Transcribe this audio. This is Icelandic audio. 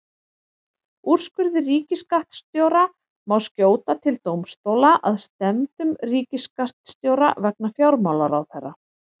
Úrskurði ríkisskattstjóra má skjóta til dómstóla að stefndum ríkisskattstjóra vegna fjármálaráðherra.